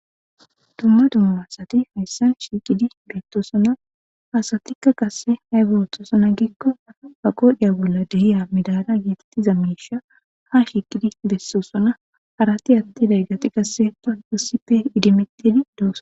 dumma dumma asati hayssan shiiqidi beettosona hasatikka qasse hay booththoosona giikkoa ba qodhiya bolla dehiya midala yeetettiza miisha ha shiiqidi bessosona harati atti day gati qasse panqusippe idimedidi dooso